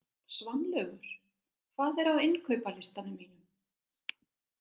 Svanlaugur, hvað er á innkaupalistanum mínum?